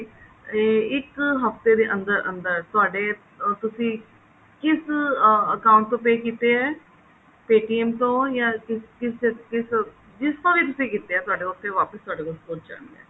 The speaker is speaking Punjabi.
ਏ ਇੱਕ ਹਫਤੇ ਦੇ ਅੰਦਰ ਅੰਦਰ ਤੁਹਾਡੇ ਅਹ ਤੁਸੀਂ ਕਿਸ account ਤੋਂ pay ਕਿਤੇ ਹੈ paytm ਤੋਂ ਜਾ ਕਿਸ ਤੋਂ ਕਿਸ ਤੋਂ ਕਿਸ ਤੋਂ ਵੀ ਕਿਤੇ ਹੈ ਤੁਹਾਡੇ ਕੋਲ ਉੱਥੇ ਵਾਪਿਸ ਵਾਪਿਸ ਉੱਥੇ ਪਹੁੰਚ ਜਾਣਗੇ